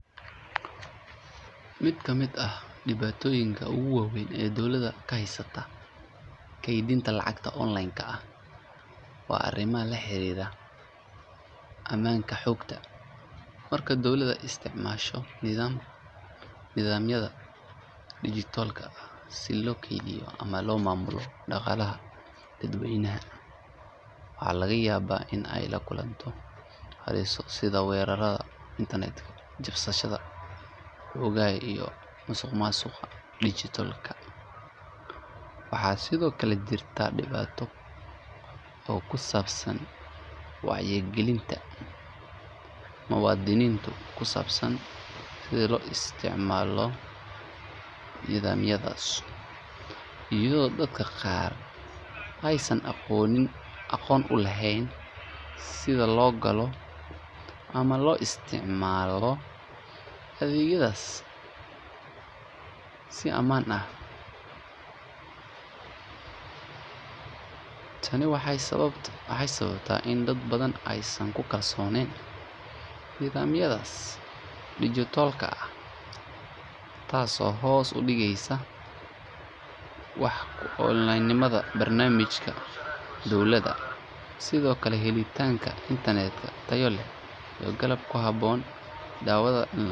Mid ka mid ah dhibaatooyinka ugu waaweyn ee dowladda ka haysata kaydinta lacagaha online-ka ah waa arrimaha la xiriira ammaanka xogta. Marka dowladda isticmaasho nidaamyada dijitaalka ah si loo keydiyo ama loo maamulo dhaqaalaha dadweynaha, waxaa laga yaabaa in ay la kulanto halisaha sida weerarada internet-ka, jabsiga xogaha, iyo musuqmaasuqa dijitaalka ah. Waxaa sidoo kale jirta dhibaato ku saabsan wacyigelinta muwaadiniinta ku saabsan sida loo isticmaalo nidaamyadaas, iyadoo dadka qaar aysan aqoon u lahayn sida loo galo ama loo isticmaalo adeegyadaas si ammaan ah. Tani waxay sababtaa in dad badan aysan ku kalsooneyn nidaamyada dijitaalka ah, taasoo hoos u dhigaysa wax-ku-oolnimada barnaamijyada dowladda. Sidoo kale, helitaanka internet tayo leh iyo qalab ku habboon ayaa ah caqabad kale oo saameyn ku leh adeegyada kaydka online-ka ah. Dowladda waxay u baahan tahay in ay maalgeliso tiknoolajiyadda, tababar siiso shaqaalaha, iyo in la sameeyo sharciyo adag oo ilaalinaya xogaha dadweynaha.